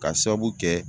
Ka sababu kɛ